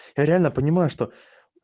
реально понимаю что